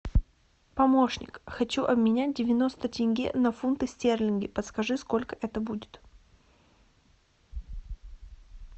помощник хочу обменять девяносто тенге на фунты стерлинги подскажи сколько это будет